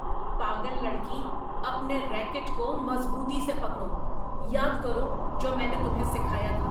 پاگل لڑکی۔ اپنے ریکٹ کو مضبوطی سے پکڑو۔ یاد کرو جو میں نے تمہیں سکھایا تھا۔